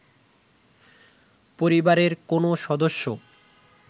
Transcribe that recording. পরিবারের কোনো সদস্য